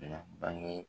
Na bange